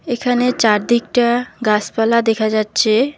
এখানে চারদিকটা গাসপালা দেখা যাচ্ছে।